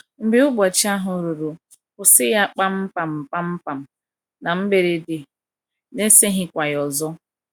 Mgbe ụbọchị ahụ ruru, kwụsị ya kpam kpam kpam kpam — na mberede, n’eseghịkwa ya ọzọ.